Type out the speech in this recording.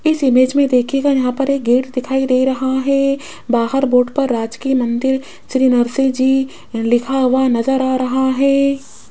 इस इमेज में देखियेगा यहां पर गेट दिखाई दे रहा हैं बाहर बोर्ड पर राजकीय मंदिर श्री नरसिंह जी लिखा हुआ नजर आ रहा हैं।